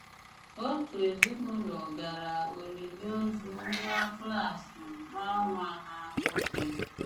Otu èzìnùlò gara olìlì òzù nwà klas nwà nwà ha nwòkè.